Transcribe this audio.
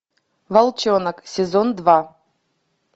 волчонок сезон два